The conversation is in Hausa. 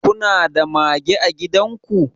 kuna da mage a gidan ku